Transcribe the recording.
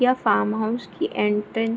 यह farm house की entrance --